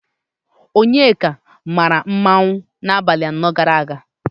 Onyeka maara mmanwụ n'abalị anọ gara aga.